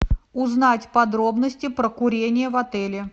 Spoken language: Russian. узнать подробности про курение в отеле